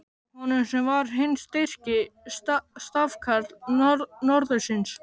Honum, sem var hinn styrki stafkarl norðursins!